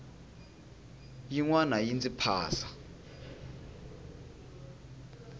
yin wana yi ndzi phasa